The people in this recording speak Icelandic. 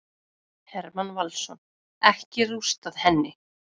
Hermann Valsson: Ekki rústað henni.